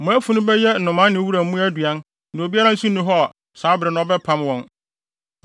Mo afunu bɛyɛ nnomaa ne wuram mmoa aduan na obiara nso nni hɔ saa bere no a, ɔbɛpam wɔn.